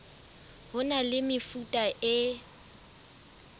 ho na le mefuta e